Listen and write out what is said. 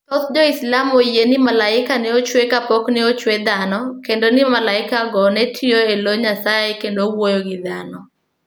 Thoth Jo-Islam oyie ni malaike ne ochwe kapok ne ochwe dhano, kendo ni malaikego ne tiyo e lo Nyasaye kendo wuoyo gi dhano.